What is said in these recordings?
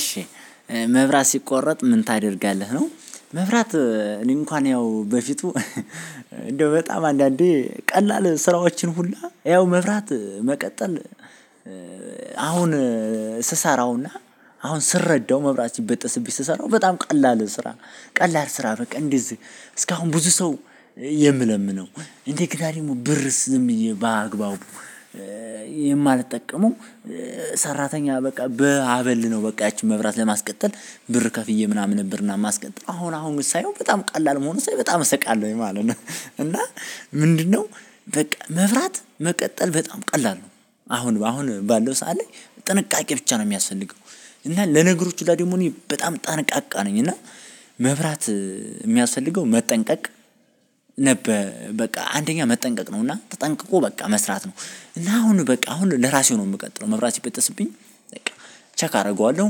እሺ መብራት ሲቆረጥ ምን ታደርጋለህ? ነው መብራት እኔ እንኳን ያው በፊቱ እንደው በጣም አንዳንዴ ቀላል ስራዎችን ሁላ ያው መብራት መቀጠል። አሁን ስሰራውና አሁን ስረዳው መብራት ሲበጠስብኝ ስሰራው በጣም ቀላል ስራ ቀላል ስራ በቃ እንደዚህ እስካሁን ብዙ ሰው የምለምነው እንደገና ደግሞ ብርስ ዝም ብዬ በአግባቡ የማልጠቀመው። ሰራተኛ በቃ በአበል ነው በቃ ያቺን መብራት ለማስቀጠል ብር ከፍዬ ምናምን ነበር። እና ማስቀጠል አሁን አሁን ግን ሳየው በጣም ቀላል መሆኑን ሳይ በጣም እስቃለሁኝ ማለት ነው። እና ምንድነው? በቃ መብራት መቀጠል በጣም ቀላል ነው። አሁን አሁን ባለው ሰዓት ላይ ጥንቃቄ ብቻ ነው የሚያስፈልገው። እና ለነገሮች ሁላ ደግሞ እኔ በጣም ጠንቃቃ ነኝ። እና መብራት የሚያስፈልገው መጠንቀቅ ነበር በቃ አንደኛ መጠንቀቅ ነው እና ተጠንቅቆ በቃ መስራት ነው። እና አሁን በቃ አሁን ለራሴ ነው የምቀጥለው መብራት ሲበጠስብኝ በቃ ቸክ አደርገዋለሁ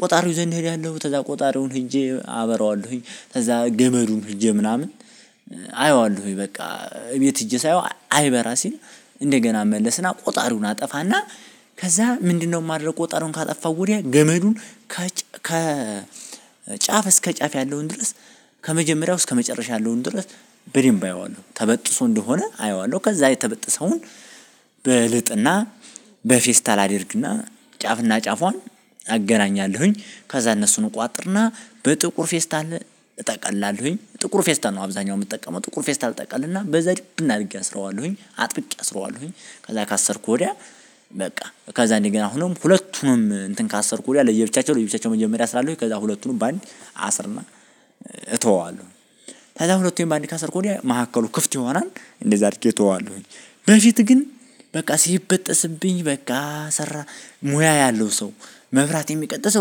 ቆጣሪው ዘንድ ሄዳለሁ ከዛ ቆጣሪውን ሄጄ አበረዋለሁኝ። ከዛ ገመዱን ሄጄ ምናምን አየዋለሁኝ በቃ እቤት ሄጄ ሳየው አይበራ ሲል እንደገና እመለስና ቆጣሪውን አጠፋና። ከዛ ምንድነው? ማደረግ ቆጣሪውን ካጠፋው ወዲያ ገመዱን ከ ከ ጫፍ እስከ ጫፍ ያለውን ድረስ ከመጀመሪያው እስከ መጨረሻ ያለውን ድረስ። በደንብ አየዋለሁ ተበጥሶ እንደሆነ አየዋለሁ ከዛ የተበጠሰውን በልጥና በፌስታል አድርግና ጫፍና ጫፏን አገናኛለሁኝ። ከዛ እነሱን እቋጥርና በጥቁር ፌስታል እጠቅላለሁኝ ጥቁር ፌስታል ነው አብዛኛው የምጠቀመው ጥቁር ፌስታል ጠቀልና በዛ ድብን አድርጌ አስረዋለሁኝ አጥብቄ አስረዋለሁኝ። ከዛ ካሰርኩ ወዲያ በቃ ከዛ እንደ ገና አሁንም ሁለቱንም እንትን ካሰርኩ ወድያ ለየብቻቸው ለየብቻቸው መጀመሪያ አስራለሁኝ ከዛ ሁለቱንም በአንድ አስርና እተወዋለሁ። ከዛ ሁለቱን በአንዴ ካሰርኩኝ ወድያ መካከሉ ክፍት ይሆናል። እንደዛ አድርጌ እተወዋለሁኝ። በፊት ግን በቃ ሲበጠስብኝ በቃ ሰራ ሙያ ያለው ሰው መብራት የሚቀጥል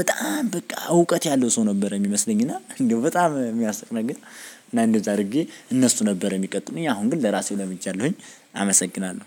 በጣም በቃ እውቀት ያለው ሰው ነበር የሚመስለኝ እና እንደው በጣም የሚያስቅ ነገር። እና እንደዛ አድርጌ እነሱ ነበር የሚቀጥሉኝ አሁን ግን ለራሴ ለምጃለሁኝ። አመሰግናለሁ።